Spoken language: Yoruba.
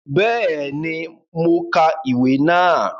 Béèni, mo ka ìwé náà